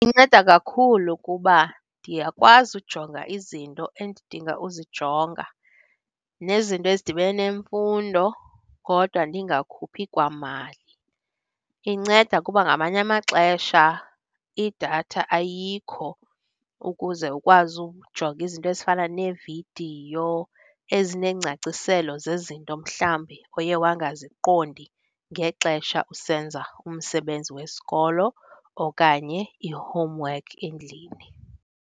Inceda kakhulu kuba ndiyakwazi ujonga izinto endidinga uzijonga nezinto ezidibene nemfundo, kodwa ndingakhuphi kwamali. Inceda kuba ngamanye amaxesha idatha ayikho ukuze ukwazi ukujonga izinto ezifana neevidiyo ezineengcaciselo zezinto mhlawumbi oye wangaziqondi ngexesha usenza umsebenzi wesikolo okanye i-homework endlini.